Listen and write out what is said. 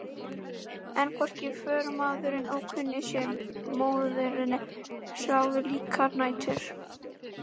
En hvorki förumaðurinn ókunni né móðirin sváfu slíkar nætur.